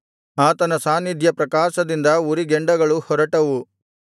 ಆತನ ಸಾನ್ನಿಧ್ಯ ಪ್ರಕಾಶದಿಂದ ಉರಿಗೆಂಡಗಳು ಹೊರಟವು